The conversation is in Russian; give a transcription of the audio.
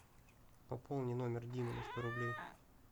пополни номер димы на сто рублей